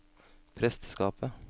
presteskapet